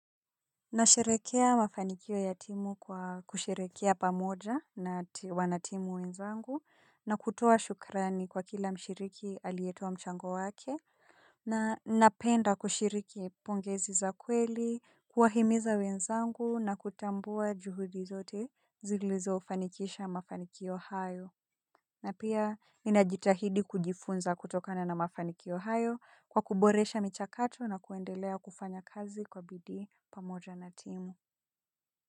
Nasherehekea mafanikio ya timu kwa kusherekea pamoja na wanatimu wenzangu na kutoa shukrani kwa kila mshiriki aliyetoa mchango wake na napenda kushiriki pongezi za kweli, kuwahimiza wenzangu na kutambua juhudi zote zilizo fanikisha mafanikio hayo. Na pia ninajitahidi kujifunza kutokana na mafanikio hayo kwa kuboresha michakato na kuendelea kufanya kazi kwa bidi pamoja na timu.